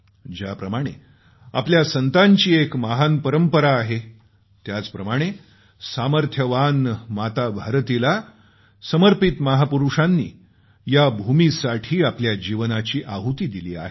ज्याप्रमाणे आपल्या संतांची एक महान परंपरा आहे त्याचप्रमाणे सामर्थ्यवान माताभारतीला समर्पित महापुरूषांनी या भूमीसाठी आपल्या जीवनाची आहुती दिली आहे